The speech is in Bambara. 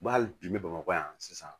Ba hali bi n bɛ bamakɔ yan sisan